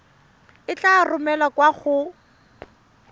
e tla romelwa kwa go